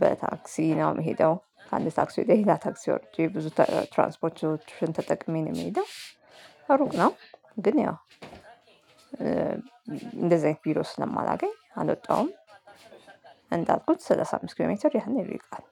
በታክሲ ነው ምሄደው ከአንድ ታክሲ ወደ ሌላ ታክሲ ወርጄ ብዙ ትራንስፖርት ኦፕሽን ተጠቅሜ ነው ምሄደው። ሩቅ ነው ግን ያው እ እንደዚህ አይነት ቢሮ ስለማላገኝ አልወጣውም። እንዳልኩት ሰላሳ አምስት ኪሎ ሜትር ያህል ይርቃል።